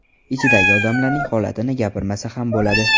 Ichidagi odamlarning holatini gapirmasa ham bo‘ladi.